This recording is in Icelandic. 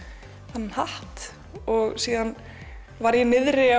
þennan hatt og svo var ég niðri